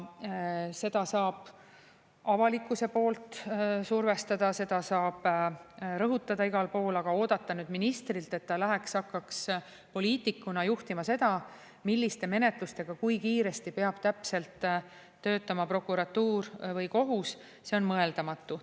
Seda saab avalikkuse poolt survestada, seda saab rõhutada igal pool, aga oodata nüüd ministrilt, et ta läheks hakkaks poliitikuna juhtima seda, milliste menetlustega kui kiiresti peab täpselt töötama prokuratuur või kohus, see on mõeldamatu.